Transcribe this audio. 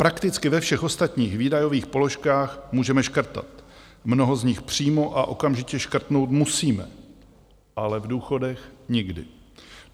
Prakticky ve všech ostatních výdajových položkách můžeme škrtat, mnoho z nich přímo a okamžitě škrtnout musíme, ale v důchodech nikdy.